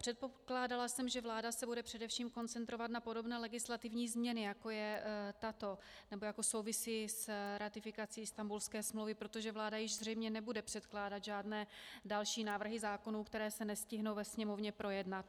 Předpokládala jsem, že vláda se bude především koncentrovat na podobné legislativní změny, jako je tato, nebo jako souvisí s ratifikací Istanbulské smlouvy, protože vláda již zřejmě nebude předkládat žádné další návrhy zákonů, které se nestihnou ve Sněmovně projednat.